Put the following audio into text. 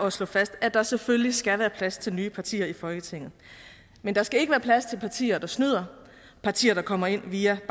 at slå fast at der selvfølgelig skal være plads til nye partier i folketinget men der skal ikke være plads til partier der snyder partier der kommer ind via